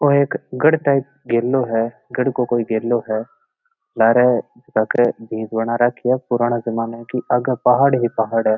या कोई गढ़ टाइप गेलो है गढ़ को कोई गेलो है लारह एक भींत बना राखी है पुराने जमाने की आगे पहाड़ ही पहाड़ है।